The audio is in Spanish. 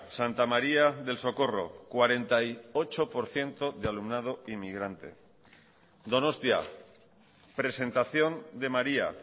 santa maría del socorro cuarenta y ocho por ciento de alumnado inmigrante donostia presentación de maría